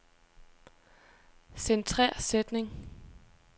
Centrer sætning.